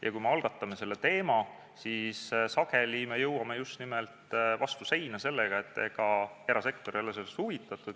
Ja kui me selle teema algatame, siis sageli jõuame vastu seina just nimelt sellega, et erasektor ei ole sellest huvitatud.